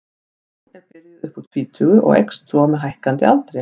Oft er hún byrjuð upp úr tvítugu og eykst svo með hækkandi aldri.